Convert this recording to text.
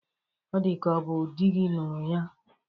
Ọ dịka ọ bụ dị gi ñụrụ ya.